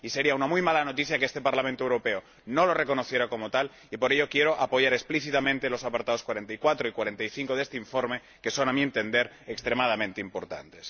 Y sería una muy mala noticia que este Parlamento Europeo no lo reconociera como tal y por ello quiero apoyar explícitamente los apartados 44 y 45 de este informe, que son, a mi entender, extremadamente importantes.